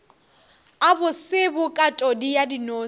a bose bokatodi ya dinose